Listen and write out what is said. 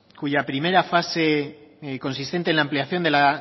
cuya primera fase consistente en la ampliación de la